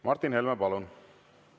Martin Helme, palun!